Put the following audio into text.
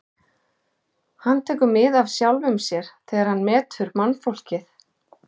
Hann tekur mið af sjálfum sér þegar hann metur mannfólkið.